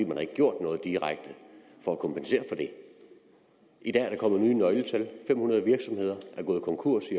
man har ikke gjort noget direkte for at kompensere for det i dag er der kommet nye nøgletal i fem hundrede virksomheder gået konkurs